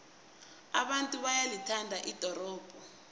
abantu bayalithanda ldorobho